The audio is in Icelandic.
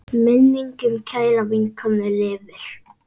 Minning um kæra vinkonu lifir.